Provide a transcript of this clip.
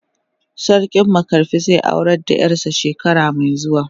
Sarki makarfi zai aurar da yar sa shekara mai zuwa.